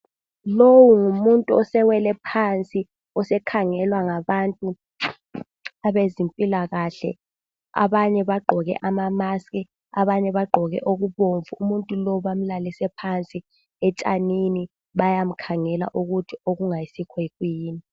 Lowu ngumuntu osewele phansi osekhangelwa ngabantu abezempilakahle. Abanye bagqoke amamaski, abanye bagqoke okubomvu. Umuntu lowu bamlalise phansi, etshanini bayamkhangela ukuthi okungayisikho kuyini.